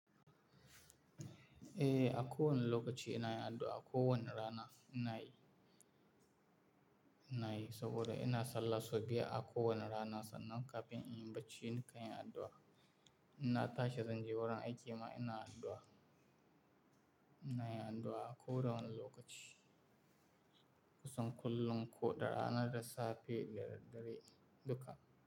Eh, a ko wane lokaci ina yin addu'a, a kowane rana ina yi, ina yi saboda ina sallah sau biyar a kowane rana sannan kafin in yi bacci nakan yin addu'a. Ina tashi zan je wurin aiki ma ina addu'a. Ina yin addu'a a koda wane lokaci. Kusan kullum ko ɗa rana da safe da daddare duka.